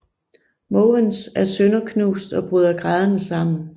Måvens er sønderknust og bryder grædende sammen